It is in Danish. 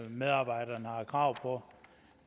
medarbejderne har krav på